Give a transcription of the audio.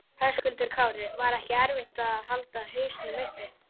Höskuldur Kári: Var ekki erfitt að halda hausnum uppi?